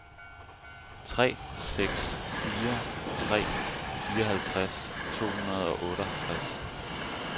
tre seks fire tre fireoghalvtreds to hundrede og otteoghalvtreds